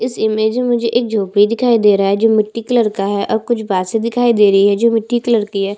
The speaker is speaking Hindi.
इस इमेज में मुझे एक झोपड़ी दिखाई दे रहा है जो मिट्टी कलर का है और कुछ बासे दिखाई दे रही है जो मिट्टी कलर की है।